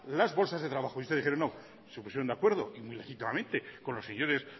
las bolsas de trabajo y ustedes dijeron no se pusieron de acuerdo y muy legítimamente con los señores